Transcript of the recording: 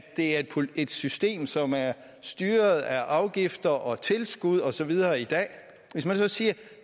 det er et system som er styret af afgifter og tilskud og så videre i dag hvis man så siger at